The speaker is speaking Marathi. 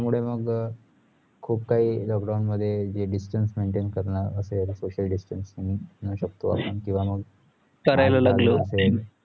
मुळे मग अह खुपखाही lockdown मध्ये जे distance maintain करणं असेल social distancing म्हणू शकतो आपण किंवा मग